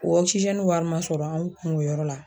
O wari ma sɔrɔ an kun o yɔrɔ la